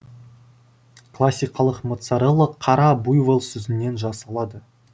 классикалық моцарелла қара буйвол сүтінен жасалады